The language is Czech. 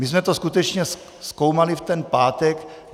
My jsme to skutečně zkoumali v ten pátek.